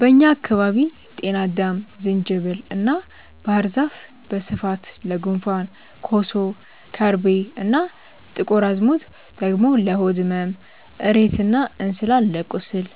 በእኛ አካባቢ ጤናአዳም፣ ዝንጅብል እና ባህር ዛፍ በስፋት ለጉንፋን፣ ኮሶ፣ ከርቤ እና ጥቁር አዝሙድ ደግሞ ለሆድ ህመም፣ እሬት እና እንስላል ለቁስል፣